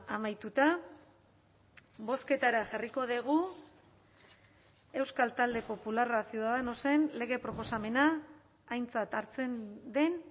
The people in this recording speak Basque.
amaituta bozketara jarriko dugu euskal talde popularra ciudadanosen lege proposamena aintzat hartzen den